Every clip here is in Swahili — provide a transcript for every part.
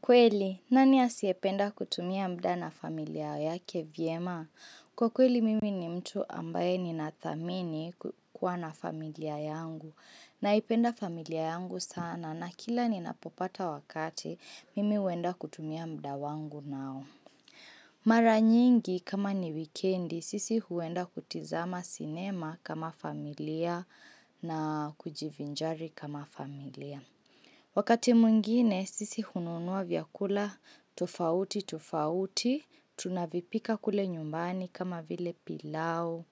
Kweli, nani asiyependa kutumia muda na familia yake vyema? Kwa kweli, mimi ni mtu ambaye ninathamini kuwa na familia yangu. Naipenda familia yangu sana na kila ninapopata wakati, mimi huenda kutumia muda wangu nao. Mara nyingi, kama ni wikendi, sisi huenda kutizama sinema kama familia na kujivinjari kama familia. Wakati mwingine sisi hununua vyakula tofauti tofauti, tunavipika kule nyumbani kama vile pilau,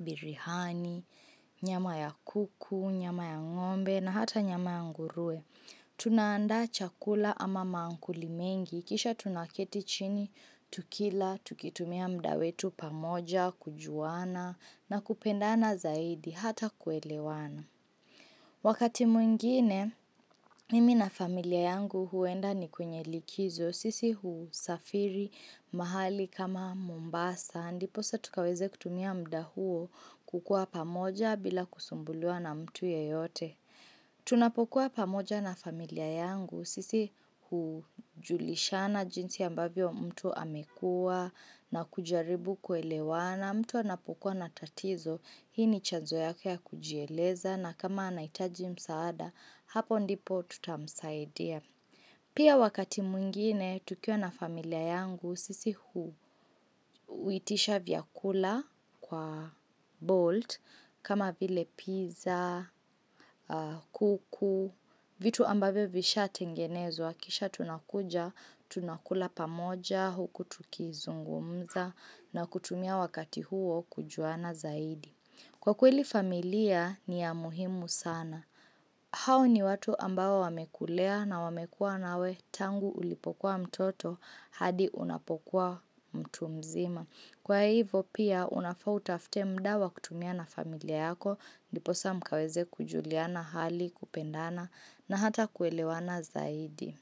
biriani, nyama ya kuku, nyama ya ng'ombe na hata nyama ya nguruwe. Tunaandaa chakula ama maakuli mengi, kisha tunaketi chini, tukila, tukitumia muda wetu pamoja, kujuana na kupendana zaidi hata kuelewana. Wakati mwingine, mimi na familia yangu huenda kwenye likizo, sisi husafiri mahali kama mombasa, ndipo sa tukaweze kutumia muda huo kukuwa pamoja bila kusumbuliwa na mtu yeyote. Tunapokuwa pamoja na familia yangu, sisi hujulishana jinsi ambavyo mtu amekuwa na kujaribu kuelewana mtu anapokuwa na tatizo, hii ni chanzo yako ya kujieleza na kama anahitaji msaada, hapo ndipo tutamsaidia Pia wakati mwngine, tukiwa na familia yangu, sisi huitisha vyakula kwa bolt, kama vile pizza, kuku, vitu ambavyo vishaatengenezwa, kisha tunakuja, tunakula pamoja, huku tukizungumza, na kutumia wakati huo kujuana zaidi. Kwa kweli familia ni ya muhimu sana, hao ni watu ambao wamekulea na wamekuwa nawe tangu ulipokuwa mtoto hadi unapokuwa mtu mzima. Kwa hivyo pia unafaa utafute muda wa kutumia na familia yako, ndiposa mkaweze kujuliana hali kupendana na hata kuelewana zaidi.